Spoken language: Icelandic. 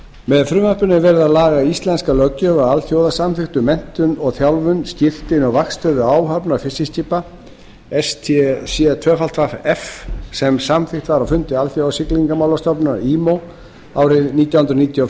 með frumvarpinu er verið að laga íslenska löggjöf að alþjóðasamþykkt um menntun og þjálfun skírteini og vaktstöður áhafnar fiskiskips sem samþykkt var á fundi alþjóðasiglingamálastofnunarinnar árið nítján hundruð níutíu og